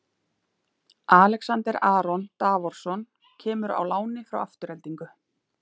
Alexander Aron Davorsson kemur á láni frá Aftureldingu.